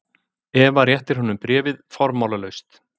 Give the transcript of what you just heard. Eva réttir honum bréfið formálalaust.